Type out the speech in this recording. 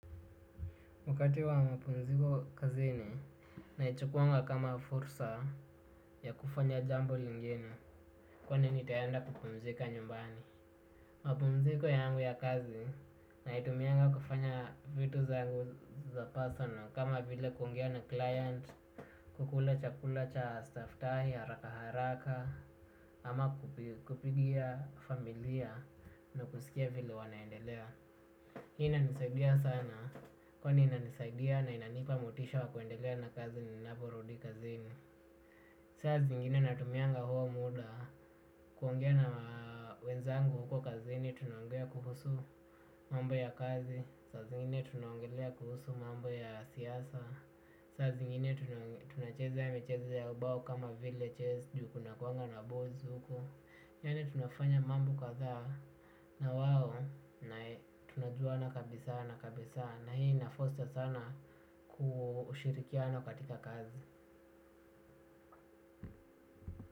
Wakati wa mapumziko kazini, naichukuanga kama fursa ya kufanya jambo lingine, kwani nitaenda kupumzika nyumbani. Mapumziko yangu ya kazi, naitumianga kufanya vitu zangu za personal, kama vile kuongea na client, kukula chakula cha staff tai harakaharaka, ama kupigia familia na kusikia vile wanaendelea. Inanisaidia sana, kwani inanisaidia na inanipa motisha wa kuendelea na kazi ninaporudi kazini. Saa zingine natumianga huo muda, kuongea na wenzangu huko kazini, tunaongea kuhusu mambo ya kazi. Saa zingine tunaongelea kuhusu mambo ya siasa. Saa zingine tunacheza michezo ya ubao kama vile Chess, juu kunakuanga na boards huko. Yani tunafanya mambo kadhaa na wao na tunajuana kabisa na kabisa na hii inafoster sana ushirikiano katika kazi.